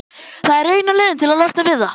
Það er eina leiðin til að losna við það.